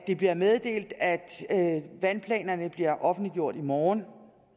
det bliver meddelt at at vandplanerne bliver offentliggjort i morgen